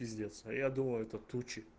пиздец а я думаю это тучи